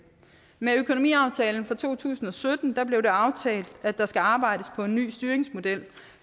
med økonomiaftalen fra to tusind og sytten blev det aftalt at der skal arbejdes på en ny styringsmodel